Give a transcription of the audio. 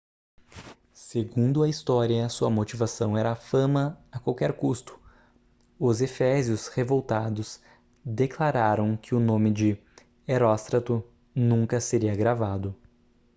segundo a história sua motivação era a fama a qualquer custo os efésios revoltados declararam que o nome de heróstrato nunca seria gravado